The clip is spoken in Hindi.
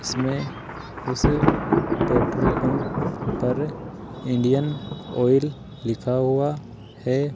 इसमें उस पेट्रोल पंप पर इंडियन ऑयल लिखा हुआ है।